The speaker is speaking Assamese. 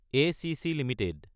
ACC Ltd